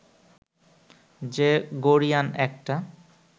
যে গরীয়ান একটা